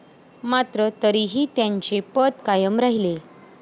मात्र तरीही त्यांचे पद कायम राहिले.